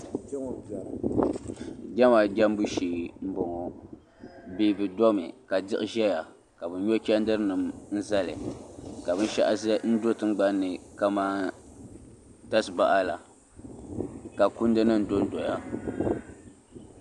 Nɛma jɛmbu shɛɛ mbɔŋɔ Bani di mi ka siɣi doya ka bi nyo chɛndiri nima n zali ka bini shaɣu do tiŋgbani ni kaman tasibaha la ka kundi nim do n doya.